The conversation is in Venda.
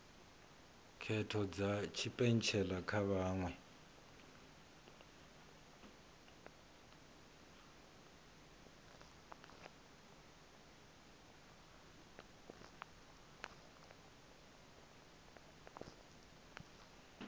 khetho dza tshipentshela kha vhaṅwe